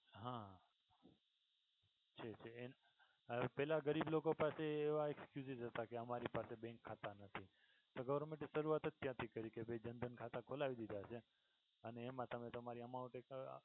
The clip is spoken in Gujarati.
હા છે છે અને પેલા ગરીબ લોકો પાસે એવા excuses હતા કે અમારી પાસે bank ખાતા નથી. તો government એ શરૂઆત જ ત્યાંથી કરી કે ભાઈ જનધન ખાતા ખોલાવી દીધા અને અને એમા તમે તમારી amount એક